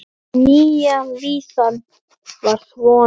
Nýja vísan var svona